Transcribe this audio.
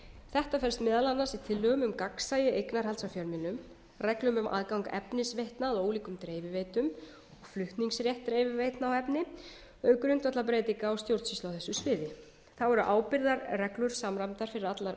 þetta felst meðal annars í tillögum um gagnsæi og eignarhald af fjölmiðlum reglum um aðgang efnisveitna að ólíkum dreifiveitum flutningsrétt dreifiveitna á efni auk grundvallarbreytinga á stjórnsýslu á þessu sviði þá eru ábyrgðarreglur samræmdar fyrir